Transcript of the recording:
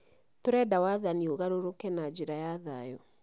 Tũrenda wathani ũgarũrũke na njĩra ya thayũ